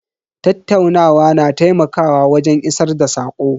Tattaunawa na taimakawa wajen isar da sako.